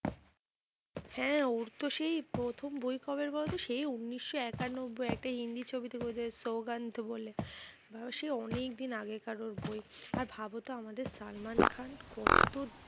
হ্যাঁ ওর তো সেই প্রথম বই কবের বলতো? সেই ঊনিশ শো একানব্বই একটা হিন্দি ছবি, তোর সোগানধ বলে, বা সেই অনেকদিন আগেকার ওর বই। আর ভাবতো আমাদের সালমান খান কত